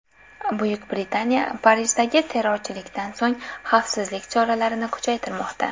Buyuk Britaniya Parijdagi terrorchilikdan so‘ng xavfsizlik choralarini kuchaytirmoqda.